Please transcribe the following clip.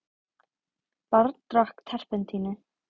Barn drakk terpentínu